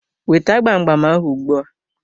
Weta gbam gbam ahụ ugbu a!